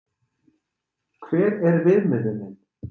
Hver er viðmiðunin?